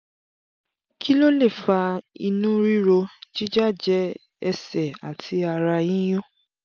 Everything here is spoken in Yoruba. kí ló lè fa inú ríro jíjájẹ ẹsẹ̀ àti ara yíyún?